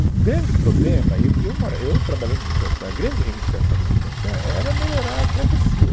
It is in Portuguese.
O o grande problema, e eu e eu mora, eu trabalhei no Butantã, a grande reivindicação do Butantã era melhorar a travessia.